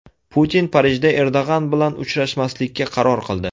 Putin Parijda Erdo‘g‘on bilan uchrashmaslikka qaror qildi.